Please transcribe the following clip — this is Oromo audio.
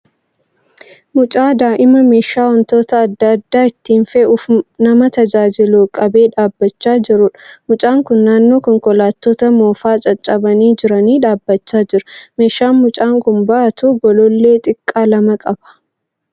Mucaa daa'ima meeshaa wantoota adda addaa ittiin fe'uuf nama tajaajilu qabee dhaabbachaa jiruudha. Mucaan kun naannoo konkolaattota moofaa caccabanii jiranii dhaabbachaa jira. Meeshaan mucaan kun baatu golollee xixiqqaa lama qaba.